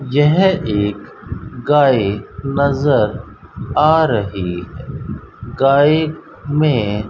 यह एक गाय नजर आ रही गाय में--